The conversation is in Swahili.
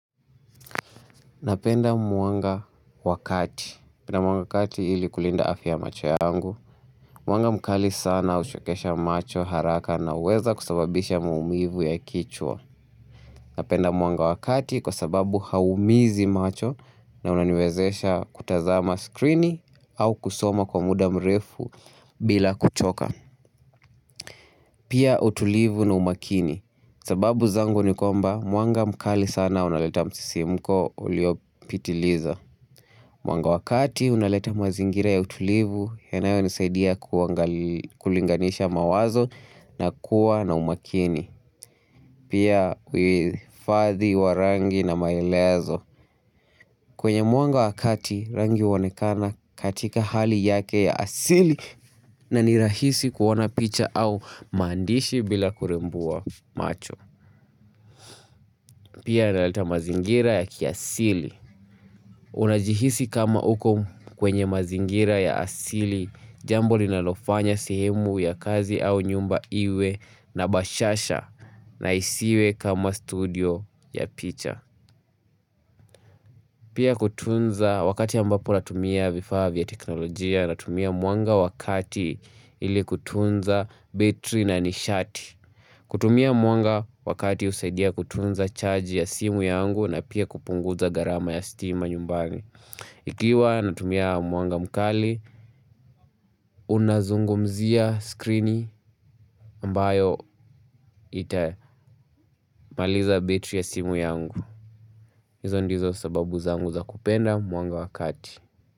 Napenda mwanga wa kati mwanga wa kati ili kulinda afya ya macho yangu. Mwanga mkali sana huchokesha macho haraka na huweza kusababisha maumivu ya kichwa. Napenda mwanga wa kati kwa sababu hauumizi macho na unaniwezesha kutazama skrini au kusoma kwa muda mrefu bila kuchoka. Pia utulivu na umakini. Sababu zangu ni kwamba mwanga mkali sana unaleta msisimko uliopitiliza. Mwanga wa kati unaleta mazingira ya utulivu yanayonisaidia kulinganisha mawazo na kuwa na umakini. Pia uhifadhi wa rangi na maelezo. Kwenye mwanga wa kati rangi huonekana katika hali yake ya asili na ni rahisi kuona picha au maandishi bila kurembua macho. Pia yanaleta mazingira ya kiasili. Unajihisi kama uko kwenye mazingira ya asili jambo linalofanya sehemu ya kazi au nyumba iwe na bashasha na isiwe kama studio ya picha. Pia kutunza wakati ambapo natumia vifaa vya teknolojia natumia mwanga wa kati ili kutunza betri na nishati. Kutumia mwanga wa kati husaidia kutunza charge ya simu yangu na pia kupunguza gharama ya stima nyumbani. Ikiwa natumia mwanga mkali, unazungumzia skrini ambayo itamaliza betri ya simu yangu. Hizo ndizo sababu zangu za kupenda mwanga wa kati.